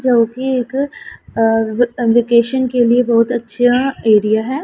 जोकि एक आ वे वोकेशन के लिए बहोत अच्छा एरिया है।